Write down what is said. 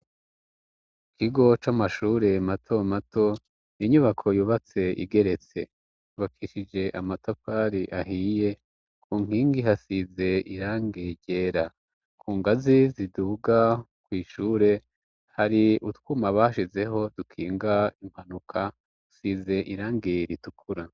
Kigo c'amashure mato mato inyubako yubatse igeretse bakishije amatapali ahiye ku nkingi hasize irange ryera ku ngazi ziduga kw'ishure hari utwuma bashizeho dukinga impwanuka asize irange ger itukura.